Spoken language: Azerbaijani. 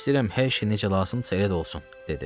"İstəyirəm hər şey necə lazımdırsa elə də olsun", dedi.